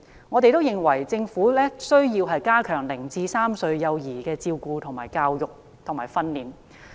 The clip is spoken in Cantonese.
我們認為，政府需要加強0至3歲幼兒的照顧、教育及訓練。